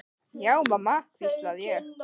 Já mamma, hvísla ég.